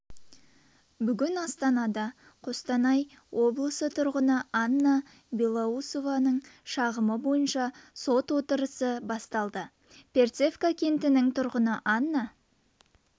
бүгін астанада қостанай облысы тұрғыны анна белоусованың шағымы бойынша сот отырысы басталды перцевка кентінің тұрғыны анна